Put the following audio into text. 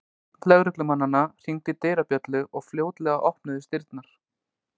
Einn lögreglumannanna hringdi dyrabjöllu og fljótlega opnuðust dyrnar.